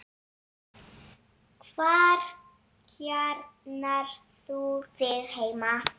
Hvar kjarnar þú þig heima?